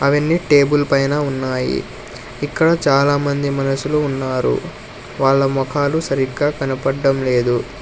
అవన్నీ టేబుల్ పైన ఉన్నాయి ఇక్కడ చాలా మంది మనుషులు ఉన్నారు వాళ్ళ మోకాలు సరిగ్గా కనపడ్డం లేదు.